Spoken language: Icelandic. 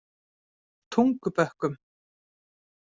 Tungubökkum